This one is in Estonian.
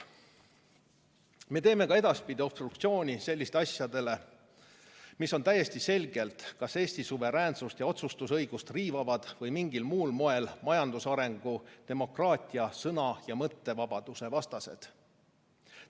Me teeme ka edaspidi obstruktsiooni sellistele asjadele, mis on täiesti selgelt kas Eesti suveräänsust ja otsustusõigust riivavad või mingil muul moel majandusarengu, demokraatia, sõna- ja mõttevabaduse vastased.